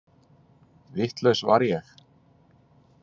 Vitlaus var ég.